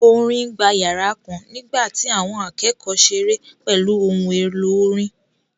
Orin gba yàrá kan nígbà tí àwọn akẹ́kọ̀ọ́ ṣeré pẹ̀lú ohun èlò orin